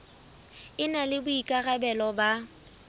e na le boikarabelo ba